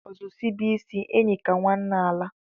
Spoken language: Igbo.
Ozu sibe isi, enyi ka nwanne alaa.